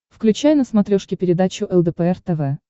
включай на смотрешке передачу лдпр тв